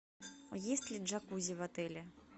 есть ли джакузи в отеле